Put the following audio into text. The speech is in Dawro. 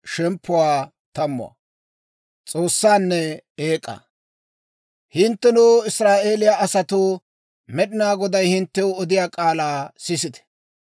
Hinttenoo, Israa'eeliyaa asatoo, Med'inaa Goday hinttew odiyaa k'aalaa sisite!